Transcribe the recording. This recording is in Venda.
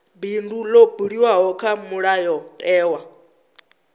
bindu ḽo buliwaho kha mulayotewa